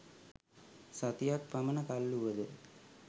සතියක් පමණ කල් වුවද